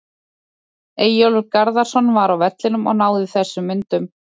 Eyjólfur Garðarsson var á vellinum og náði þessum myndum.